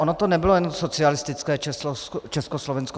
Ono to nebylo jen socialistické Československo.